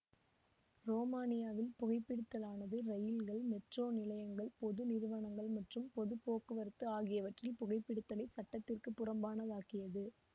ரோமானியாவில் புகைபிடித்தலானது ரயில்கள் மெட்ரோ நிலையங்கள் பொது நிறுவனங்கள் மற்றும் பொது போக்குவரத்து ஆகிவற்றில் புகைபிடித்தலை சட்டத்திற்கு புறம்பானதாக்கியது